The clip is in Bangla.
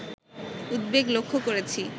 উদ্বেগ লক্ষ্য করেছি